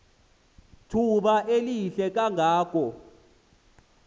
thuba lihle kangako